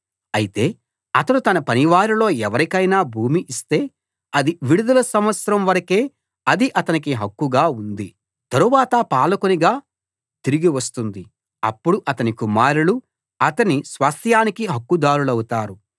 అయితే అతడు తన పనివారిలో ఎవరికైనా భూమి ఇస్తే అది విడుదల సంవత్సరం వరకే అది అతనికి హక్కుగా ఉంది తరువాత పాలకునికి తిరిగి వస్తుంది అప్పుడు అతని కుమారులు అతని స్వాస్థ్యానికి హక్కుదారులవుతారు